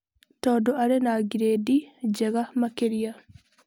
Tondũ arĩ na ngirĩndi njega makĩria.